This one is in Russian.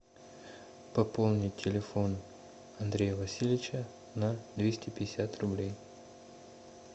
пополнить телефон андрея васильевича на двести пятьдесят рублей